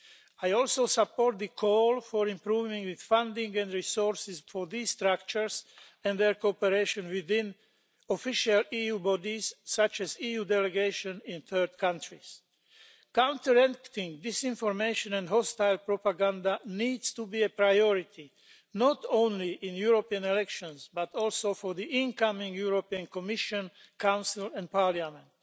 I also support the call for improving the funding and resources for these structures and their cooperation with official EU bodies such as EU delegations in third countries. Countering this information and hostile propaganda needs to be a priority, not only in the European elections but also for the incoming European Commission, Council and Parliament.